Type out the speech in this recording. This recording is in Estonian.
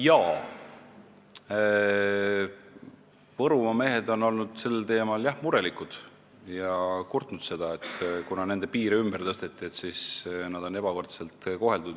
Jah, Võrumaa mehed on sel teemal murelikud olnud ja kurtnud seda, et kuna nende maakonna piire on ümber tõstetud, siis neid on ebavõrdselt koheldud.